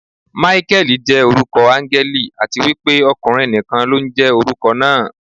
Máíkẹ́lì jẹ́ orúkọ áńgẹ́lì, àti wípé ọkùnrin nìkan ló ń jẹ́ orúkọ náà.